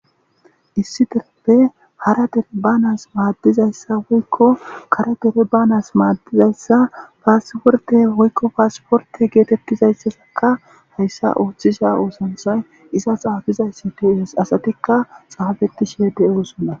issi dereppe hara dere banas maaddizayssa woykko kara dere banas maaddizayssa paasporte woykko paasporte geetettizayssasaka hayssa ooththisha oosanthay iza xaafizay si tis asatikka xaafetti sheede oosonna